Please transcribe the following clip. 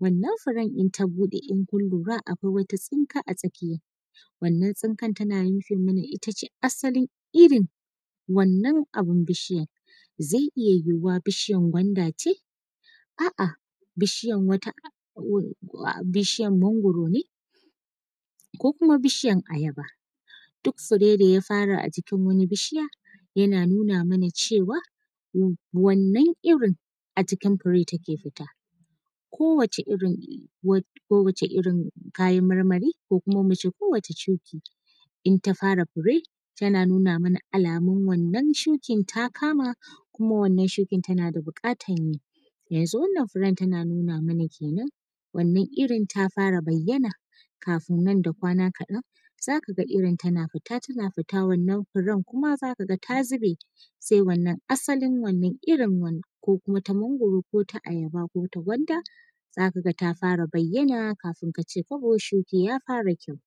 wannan furen in ta bude in kun lura akwai wata tsinka a tsakiya wannan tsingar tana nufin it ace asalin irin wannan abun bishiyar zai iya yuhuwa bishiyar kwanda ce a’a bishiyar mangoro ne ko kuma bishiyar ayaba duk fure ne ya fara a jikin wani bishiya yana nuna mana cewa wannan irin a cikin fure take futa ko wace irin kayan marmari ko kuma muce ko wace shuki in ta fara fure tana nuna mana alamun wannan shukin ta kama kuma wannan shukin tana da bukatar yi, yanzu wannan furen tana nuna mana kenan wannan irin ta fara bayyana kafin nan da kwana kadan zaka ga irin tana futa tana futa wannan furen kuma zaka ga ta zube sai wannan asalin wannan irin ko kuma ta mangoro ko ta ayaba ko ta gwanda zaka ga ta fara bayyana kafin kace kwabo shuki ya fara kyau.